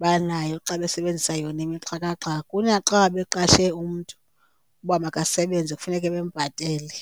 banayo xa besebenzisa yonke imixhakaxhaka kunaxa beqashe umntu uba makasebenze kufuneke bembhatele.